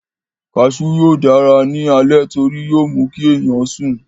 Kasú yóò dára ní alẹ́ torí yóó mú kí ènìyàn sùn